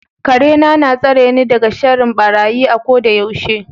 Karena na tsareni daga sharrin barayi a kodayaushe.